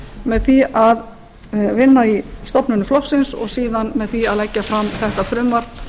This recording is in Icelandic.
með því að vinna í stofnunum flokksins og síðan með því að leggja fram þetta frumvarp